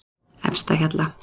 Efstahjalla